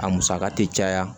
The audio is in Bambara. A musaka tɛ caya